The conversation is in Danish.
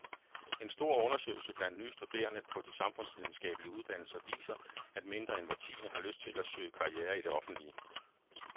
En stor undersøgelse blandt nye studerende på de samfundsvidenskabelige uddannelser viser, at mindre end hver tiende har lyst til at søge karriere i det offentlige.